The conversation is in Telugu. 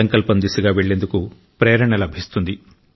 సంకల్పం దిశగా వెళ్లేందుకు ప్రేరణ లభిస్తుంది